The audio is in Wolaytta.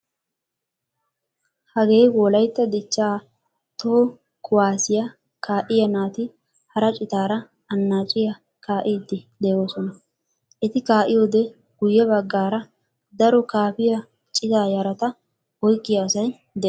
Hagee wolaytta dichchaa toho kuwaasiyaa kaa'iyaa naati hara citaara annaciyaa kaa'iidi de'oosona. Eti kaa'iyoode guyye baggaara daro kaafiyaa citaa yarata oyqqiyaa asay de'ees.